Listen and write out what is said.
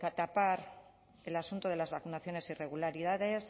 tapar el asunto de las vacunaciones irregularidades